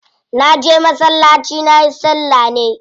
Na je masallaci nayi salla ne.